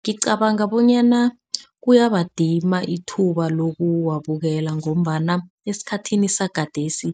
Ngicabanga bonyana kuyabadima ithuba lokuwabukela ngombana esikhathini sagadesi